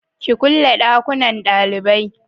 ki kulle dakunnan dalibai!